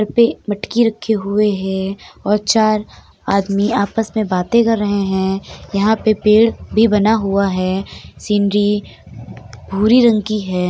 Sir पे मटके रखे हुए हैं और चार आदमी आपस में बाते कर रहे हैं। यहाँ पर पेड़ भी बना हुआ है | सीनरी भूरी रंग की है।